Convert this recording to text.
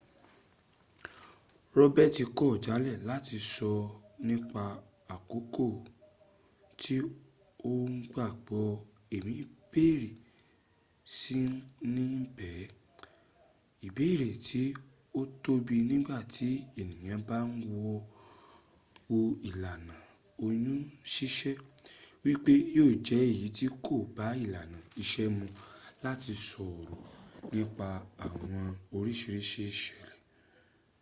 roberts kọ jalẹ lati sọ nipa akoko ti o gbagbọ ẹmi bẹrẹ si ni bẹ ibeere ti o tobi nigba ti eniyan ba n wo ilana oyun sisẹ, wipe yo jẹ eyi ti ko ba ilana iṣe mu lati sọrọ nipa awọn oriṣiriṣi iṣẹlẹ